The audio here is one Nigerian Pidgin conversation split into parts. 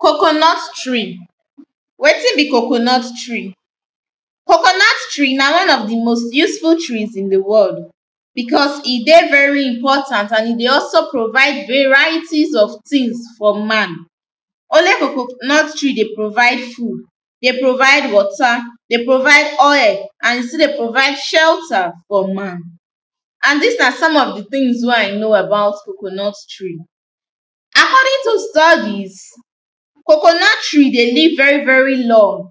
coconut tree. wetin be coconut tree? coconut tree na one of the most useful trees in the world, because e dey very important and e dey also provide varieties of tings for man. only coconut tree dey provide food, dey provide water, dey provide oil, and e still dey provide shelter for man, and these na some of the tings wey i know about coconut tree. according to studies, coconut tree dey live very very long,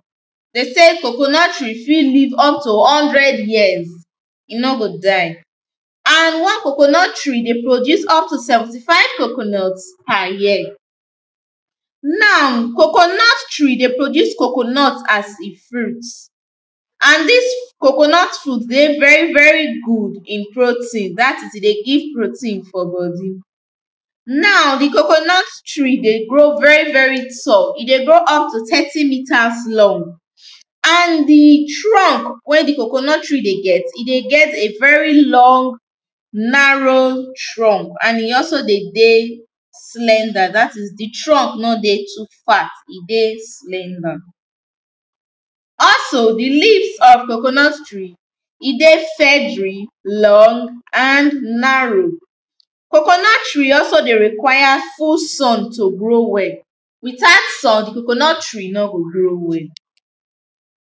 de sey coconut tree fit live up to one hundred years e no go die, and one coconut tree dey produce up to 75 coconut per year. now, coconut tree dey produce coconut as e fruit and dis coconut fruit dey very very good in protein, dat is, e dey give protein for body. now the coconut tree dey grow very very tall, e dey grow up to 30meters long, and the trunck wey the coconut tree dey get, e dey get very long narrow trunck and e also de dey slender, dat is the trunck no dey too fat, e dey slender. also the leaves of the coconut tree, e dey feathery, long, and narrow. coconut tree also dey require full sun to grow well, without sun the coconut tree no go grow well.